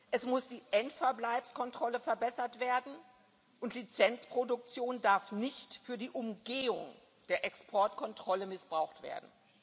Es muss die Endverbleibskontrolle verbessert werden, und Lizenzproduktion darf nicht für die Umgehung der Exportkontrolle missbraucht